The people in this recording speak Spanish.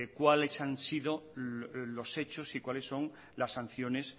cuáles han sido los hechos y cuáles son las sanciones